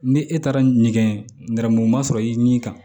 Ni e taara ɲɛgɛn nɛrɛmuguma sɔrɔ i ni kan